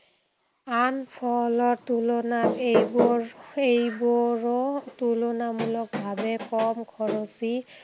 আন ফলৰ তুলনাত এইবোৰ এইবোৰো তুলনামূলক ভাৱে কম খৰচী।